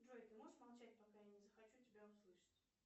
джой ты можешь молчать пока я не захочу тебя услышать